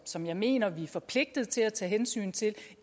som jeg mener vi er forpligtet til at tage hensyn til